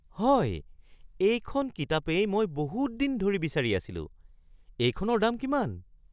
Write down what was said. হয়! এইখন কিতাপেই মই বহুত দিন ধৰি বিচাৰি আছিলোঁ। এইখনৰ দাম কিমান?